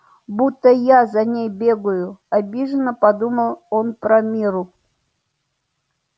будто я за ней бегаю обиженно подумал он про мирру